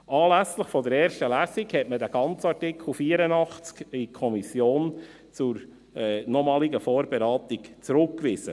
Anlässlich der ersten Lesung hatte man den gesamten Artikel 84 zur nochmaligen Vorberatung in die Kommission zurückgewiesen.